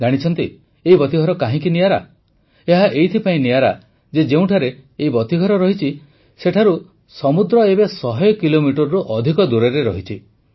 ଜାଣିଛନ୍ତି ଏହି ବତୀଘର କାହିଁକି ନିଆରା ଏହା ଏଥିପାଇଁ ନିଆରା ଯେ ଯେଉଁଠାରେ ଏହି ବତୀଘର ରହିଛି ସେଠାରୁ ସମୁଦ୍ର ଏବେ ଶହେ କିଲୋମିଟରରୁ ମଧ୍ୟ ଅଧିକ ଦୂରରେ ରହିଛି